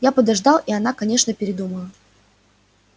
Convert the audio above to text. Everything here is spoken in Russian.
я подождал и она конечно передумала